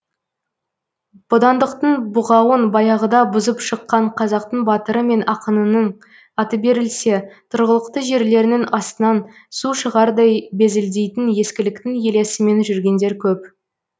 бодандықтың бұғауын баяғыда бұзып шыққан қазақтың батыры мен ақынының аты берілсе тұрғылықты жерлерінің астынан су шығардай безілдейтін ескіліктің елесімен жүргендер көп